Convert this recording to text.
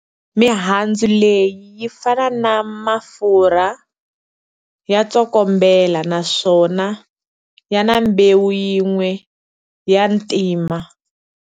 Mihandzu leyi yi fana na mafurha, ya tsokombela naswona yana mbewu yin'we ya ntima.